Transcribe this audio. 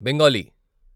Bengali